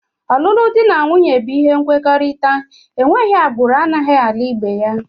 Ọlụlụ dị na nwunye bụ ihe nkwekọrịta, enweghị agbụrụ anaghị alụ ibe ya